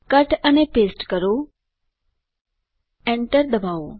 cut અને paste કરો enter ડબાઓ